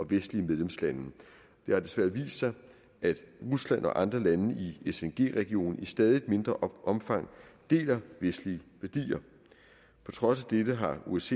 vestlige medlemslande det har desværre vist sig at rusland og andre lande i sng regionen i stadig mindre omfang deler vestlige værdier på trods af dette har osce